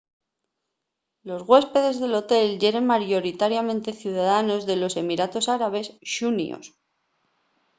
los güéspedes del hotel yeren mayoritariamente ciudadanos de los emiratos árabes xuníos